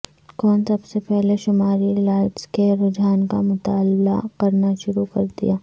کون سب سے پہلے شمالی لائٹس کے رجحان کا مطالعہ کرنا شروع کر دیا